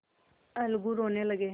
अलगू रोने लगे